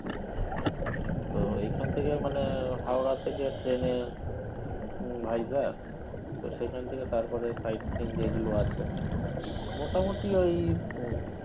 তো এখন থেকে মানে হাওড়া থেকে ট্রেনে উম ভাইজ্যাগ তো সেইখান থেকে তারপরে side seen যেগুলো আছে মোটামুটি ওই